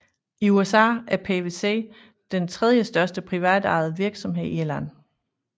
I USA er PwC den tredje største privatejede virksomhed i landet